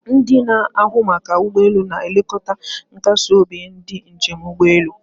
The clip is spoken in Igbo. Ndị na-ahụ maka ụgbọ elu na-elekọta nkasi obi ndị njem n'ụgbọelu